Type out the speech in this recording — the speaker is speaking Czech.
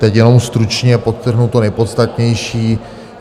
Teď jenom stručně podtrhnu to nejpodstatnější.